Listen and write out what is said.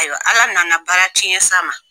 Ayiwa, Ala nana baara tiɲɛn s'a ma.